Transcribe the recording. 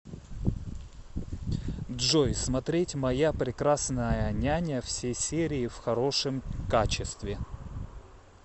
джой смотреть моя прекрасная няня все серии в хорошем качестве